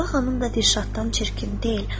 Sabah xanım da Dilşaddan çirkin deyil.